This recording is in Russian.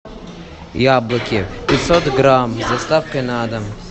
яблоки пятьсот грамм с доставкой на дом